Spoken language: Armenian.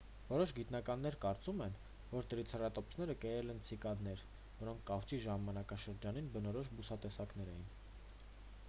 որոշ գիտնականներ կարծում են որ տրիցերատոպսերը կերել են ցիկադներ որոնք կավճի ժամանակաշրջանին բնորոշ բուսատեսակներ էին